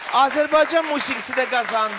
Azərbaycan musiqisi də qazandı.